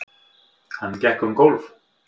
Hann gekk um gólf.